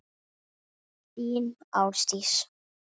Þín, Ásdís.